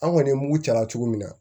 An kɔni ye mugu caya cogo min na